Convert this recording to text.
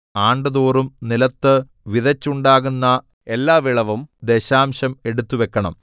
ആണ്ടുതോറും നിലത്ത് വിതച്ചുണ്ടാകുന്ന എല്ലാവിളവിലും ദശാംശം എടുത്തുവയ്ക്കണം